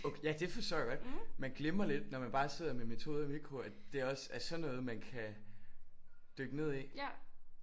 Okay ja det forstår jeg godt. Man glemmer lidt når man bare sidder med metode og mikro at det også er sådan noget man kan dykke ned i